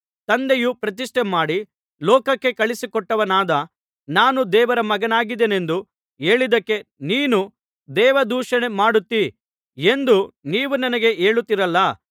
ತಂದೆಯು ಪ್ರತಿಷ್ಠೆಮಾಡಿ ಲೋಕಕ್ಕೆ ಕಳುಹಿಸಿಕೊಟ್ಟವನಾದ ನಾನು ದೇವರ ಮಗನಾಗಿದ್ದೇನೆಂದು ಹೇಳಿದ್ದಕ್ಕೆ ನೀನು ದೇವದೂಷಣೆ ಮಾಡುತ್ತೀ ಎಂದು ನೀವು ನನಗೆ ಹೇಳುತ್ತಿರಲ್ಲಾ